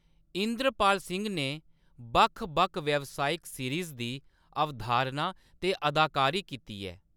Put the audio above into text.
इंद्रपाल सिंह ने बक्ख-बक्ख व्यावसायिक सीरीज़ दी अवधारणा ते अदाकारी कीती ऐ।